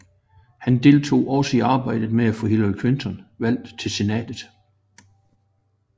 Han deltog også i arbejdet med at få Hillary Clinton valgt til Senatet